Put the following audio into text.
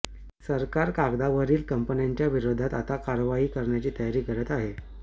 सरकार कागदावरील कपन्यांच्या विरोधात आता कारवाई करण्याची तयारी करत आहे